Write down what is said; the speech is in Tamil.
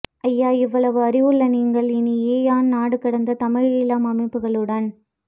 ஐயா இவளவு அறிவு உள்ள நீங்கள் இனி எஆன் நாடுகடந்த தமிழ் ஈழம் அமைப்புகளுடன்